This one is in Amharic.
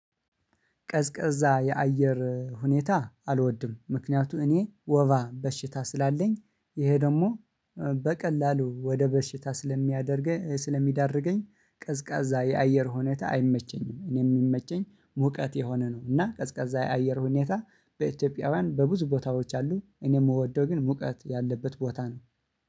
ቀዝቀዛ የአየር ሁኔታ አልወድም ምክንያቱ እኔ ወባ በሽታ ስላለኝ ይሄ ደግሞ በቀላሉ ወደ በሽታ ስለሚያደርገኝ ስለሚዳርገኝ ቀዝቃዛ የአየር ሁኔታ አይመቸኝም። እኔ የሚመቸኝ ሙቀት የሆነ ነው። እና ቀዝቃዛ የአየር ሁኔታ በኢትዮጵያውያን በብዙ ቦታዎች አሉ እኔ የምወደው ግን ሙቀት ያለበት ቦታ ነው